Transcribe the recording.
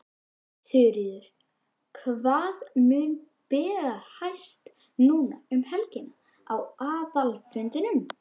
Þuríður, hvað mun bera hæst núna um helgina á aðalfundinum?